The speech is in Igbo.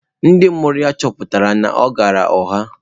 Ndị mụrụ ya chọpụtara na ọ ghaara ụgha.